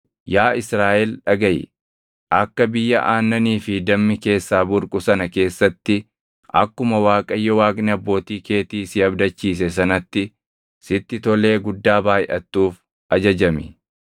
Yaa Israaʼel dhagaʼi; akka biyya aannanii fi dammi keessaa burqu sana keessatti akkuma Waaqayyo Waaqni abbootii keetii si abdachiise sanatti sitti tolee guddaa baayʼattuuf ajajami.